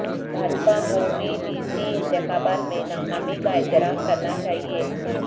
بھاجپاکو B D C انتخابات میں ناکامی کا اعتراف کرنا چاہئے